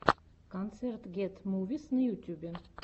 концерт гет мувис на ютюбе